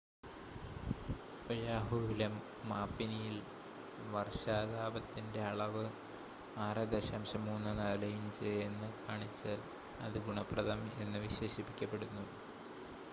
"ഒയാഹുവിലെ മാപിനിയിൽ വർഷപാതത്തിന്റെ അളവ് 6.34 ഇഞ്ച് എന്ന് കാണിച്ചാൽ, അത് "ഗുണപ്രദം" എന്ന് വിശേഷിപ്പിക്കപ്പെടുന്നു.